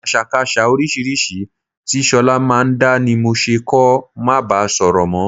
Àṣàkaṣà oríṣiríṣi tí ṣọlá máa ń dá ni mo ṣe kó máa bá sọ̀rọ̀ mọ́